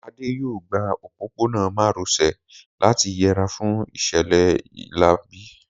Adé yóò gba òpópónà má ro sè láti yẹra fún ìṣẹ̀lẹ̀ láabi